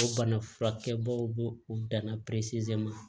O bana furakɛbaw b'o u danna ma